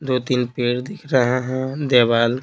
दो-तीन पेड़ दिख रहे है देवाल--